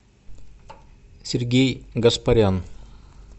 сергей гаспарян